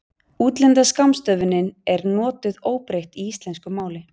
útlenda skammstöfunin er notuð óbreytt í íslensku máli